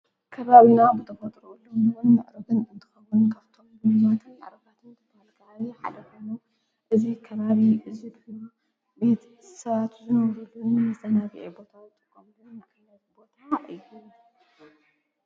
ከባብና ብተመጥርኡሉዉምንዉን ኣእሮብን እንትኸዉን ካብቶም ሉምዙትን ኣረባትን ትመልጋ ሓለኾኑ እዙ ከባሪ እዙድብሉ ቤቲ ሳት ዝነውሩሉን ምተናቢዒ ቦታ ጥጐምልን መለት ቦታ እዩ ::